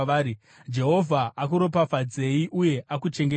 “ ‘Jehovha akuropafadzei uye akuchengetei;